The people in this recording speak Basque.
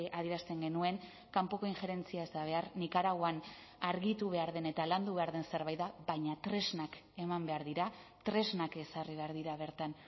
adierazten genuen kanpoko injerentzia ez da behar nikaraguan argitu behar den eta landu behar den zerbait da baina tresnak eman behar dira tresnak ezarri behar dira bertan